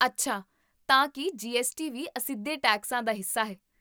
ਅੱਛਾ, ਤਾਂ ਕੀ ਜੀਐੱਸਟੀ ਵੀ ਅਸਿੱਧੇ ਟੈਕਸਾਂ ਦਾ ਹਿੱਸਾ ਹੈ?